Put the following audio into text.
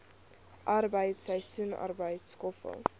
arbeid seisoensarbeid skoffel